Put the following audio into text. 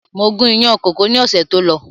Mo gun ìyàn kókò ni ọ̀sẹ̀ tó lọ